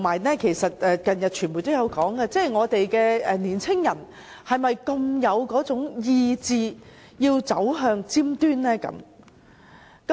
而且，近日傳媒也有報道，我們的年青人是否有志走向尖端呢？